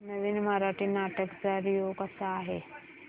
नवीन मराठी नाटक चा रिव्यू कसा आहे